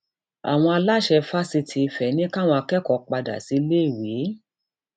àwọn aláṣẹ fásitì ìfẹ ní káwọn akẹkọọ padà síléèwé